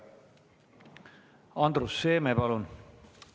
Andrus Seeme, palun!